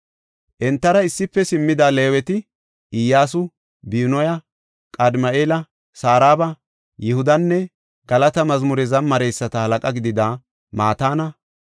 Entara issife simmida Leeweti Iyyasu, Binuya, Qadimi7eela, Saraba, Yihudanne galata mazmure zamareyisata halaqa gidida Mataana.